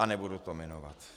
A nebudu to jmenovat.